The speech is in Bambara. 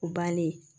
O bannen